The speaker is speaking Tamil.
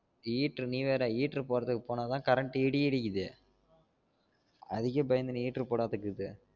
heater நீ வேற heater போடுறதுக்கு போனா தான் current இடி இடிக்குதே அதுக்கே பயந்துனு heater போடாது